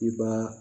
I b'a